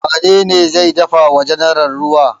Wane ne zai dafa wa general ruwa?